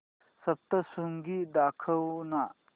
सप्तशृंगी दाखव ना